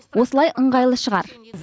осылай ыңғайлы шығар